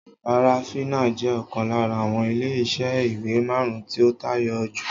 Farafina jẹ́ ọ̀kan lára àwọn ilé iṣẹ́ ìwé marun-un tí ó tayọ jù